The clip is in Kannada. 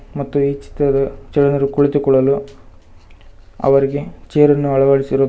ಮತ್ತು ಈ ಚಿತ್ರದ ಜನರು ಕುಳಿತುಕೊಳ್ಳಲು ಅವರಿಗೆ ಚೇರನ್ನು ಅಳವಡಿಸಿರುವುದು--